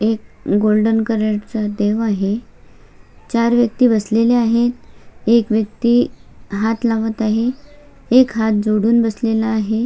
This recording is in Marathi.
एक गोल्डन कलर चा देव आहे चार व्यक्ति बसलेल्या आहे एक व्यक्ति हात लावत आहे एक व्यक्ति हात जोडून बसलेला आहे.